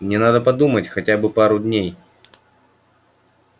мне надо подумать хотя бы пару дней